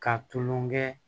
Ka tulonŋɛ